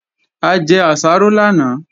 A jẹ àsáró lánàá